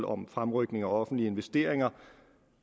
om fremrykning af offentlige investeringer